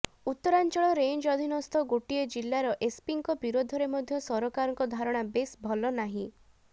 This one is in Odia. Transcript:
ଉତ୍ତରାଞ୍ଚଳ ରେଂଜ ଅଧୀନସ୍ଥ ଗୋଟିଏ ଜିଲ୍ଲାର ଏସ୍ପିଙ୍କ ବିରୋଧରେ ମଧ୍ୟ ସରକାରଙ୍କ ଧାରଣା ବେଶ୍ ଭଲ ନାହିଁ